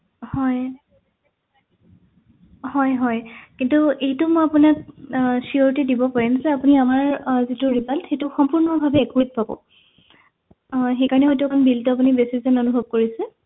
হয় হয় হয় কিন্তু এইতো মই আপোনাক আহ surity দিব পাৰিম যে আপুনি আমাৰ আহ যিটো result সম্পূৰ্ণ ভাবে accurate পাব আহ সেইকাৰণে হয়তো আপুনি bill তো আপুনি অলপ বেছি যেন অনুভৱ কৰিছে